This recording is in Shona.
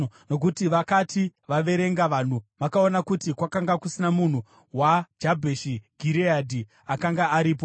Nokuti vakati vaverenga vanhu, vakaona kuti kwakanga kusina munhu weJabheshi Gireadhi akanga aripo.